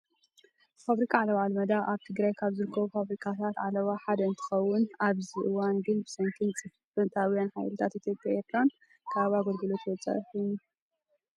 ፋብሪካ ዓለባ ኣልመዳ ኣብ ትግራይ ካብ ዝርከቡ ፋብሪካታት ኣለባ ሓደ እንትከውን ኣብዚ ሕዚ እዋን ግን ብሰንኪ ፅንፈታውያን ሓይልታት ኢትዮጵያን ኤረትራን ካብ ግልጋሎት ወፃኢ ኮይኑ።